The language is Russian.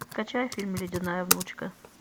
скачай фильм ледяная внучка